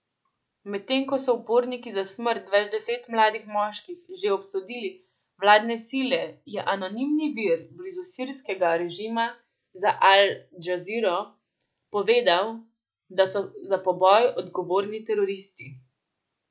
Medtem ko so uporniki za smrt več deset mladih moških že obsodili vladne sile, je anonimni vir blizu sirskega režima za Al Džaziro povedal, da so za poboj odgovorni teroristi.